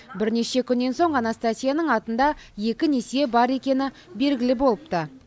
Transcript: бірнеше күннен соң анастасияның атында екі несие бар екені белгілі болыпты